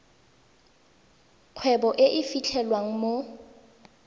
kgwebo e e fitlhelwang mo